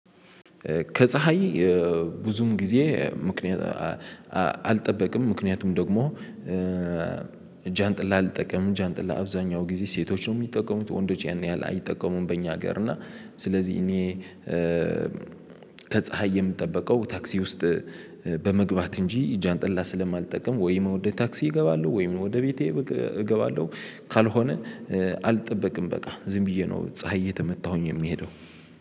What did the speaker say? ከፀሀይ ብዙም ጊዜ ምክንያት። አልጠበቅም ምክንያቱም ደግሞ ጃንጥላ አልጠቀምም ጃንጥላ አብዛኛው ጊዜ ሴቶች ነው የሚጠቀሙት ወንዶች ያን ያህል አይጠቀሙም። በእኛ ሀገር እና ስለዚህ እኔ ከፀሀይ የምጠበቀው ታክሲ ውስጥ በመግባት እንጂ ጃንጥላ ስለማልጠቀም ወይ ወደ ታክሲ እገባለሁ ወይም ወደ ቤቴ እገባለሁ። ካልሆነ አልጠበቅም በቃ ዝም ብዬ ነው ፀሀይ እየተመታሁኝ የምሄደው